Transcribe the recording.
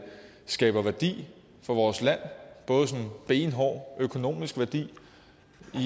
skaber værdi for vores land benhård økonomisk værdi